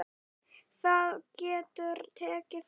Það getur tekið frá